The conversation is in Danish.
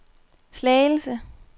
Slagelse